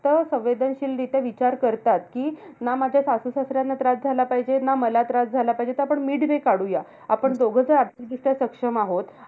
तर संवेदनशीलरित्या विचार करतात, कि ना माझ्या सासू-सासऱ्यांना त्रास झाला पाहिजे. ना मला त्रास झाला पाहिजे. तर आपण midway काढूया. आपण दोघ जर आर्थिकदृष्ट्या सक्षम आहोत.